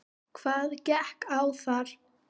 Hvað gekk á þar?